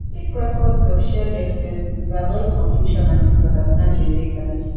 keep records of shared expenses to avoid confusion and misunderstanding later